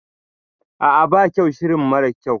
A'a ba kyau shirin mara kyau